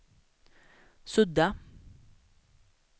sudda